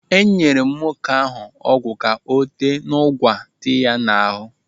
Enyere m nwoke ahụ ọgwụ ka ọ tee n'ụgwa dị ya n'ahụ.